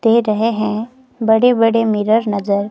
दे रहे हैं। बड़े बड़े मिरर नजर--